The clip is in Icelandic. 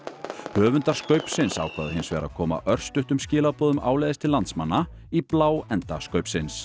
höfundar ákváðu hins vegar að koma örstuttum skilaboðum áleiðis til landsmanna í bláenda